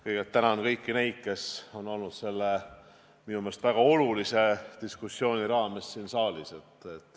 Kõigepealt tänan kõiki neid, kes on olnud selle minu meelest väga olulise diskussiooni ajal siin saalis.